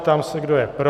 Ptám se, kdo je pro.